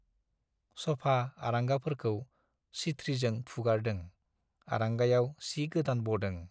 सफा, आरांगाफोरखौ सिथ्रिजों फुगारदों, आरंगायाव सि गोदान बदों,